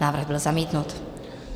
Návrh byl zamítnut.